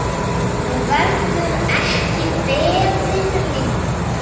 Nú verður ekki beðið lengur.